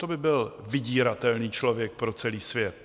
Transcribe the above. To by byl vydíratelný člověk pro celý svět!